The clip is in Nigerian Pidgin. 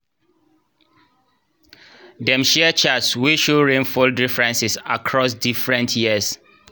dem share charts wey show rainfall differences across different years